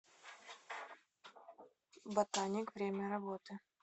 ботаник время работы